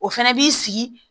O fɛnɛ b'i sigi